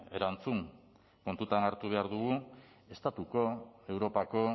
erantzun kontuan hartu behar dugu estatuko europako